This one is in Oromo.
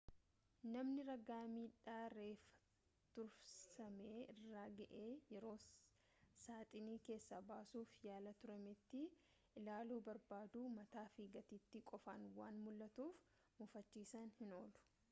namni ragaa midhaa reeffa tursame irra ga'e yeroo saaxinii keessaa baasuf yaalaa turametti ta'e ilaalu barbaadu mataa fi gateettii qofaan waan mul'atuuf mufachuunsaa hin oolu